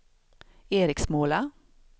Eriksmåla